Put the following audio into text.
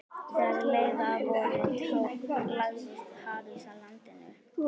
Þegar leið að vori lagðist hafís að landinu.